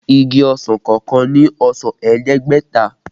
Igi ọsàn kọọkan ní ọsàn ẹ̀ẹ́dẹ́gbẹ̀ta